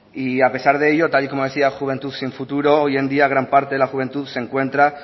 y a pesar de ello tal como decía juventud sin futuro hoy en día gran parte de la juventud se encuentra